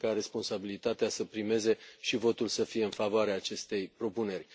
Sper ca responsabilitatea să primeze și votul să fie în favoarea acestei propuneri.